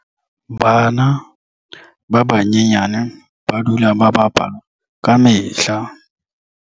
Bana ba banyenyane ba dula ba bapala ka mehla.